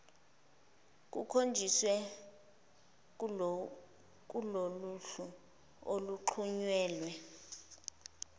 kukhonjisiwe kuloluhlu oluxhunyelwe